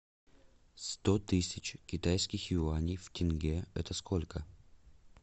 сто тысяч китайских юаней в тенге это сколько